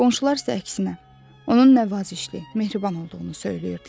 Qonşular isə əksinə, onun nəvazişli, mehriban olduğunu söyləyirdilər.